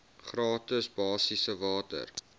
gratis basiese water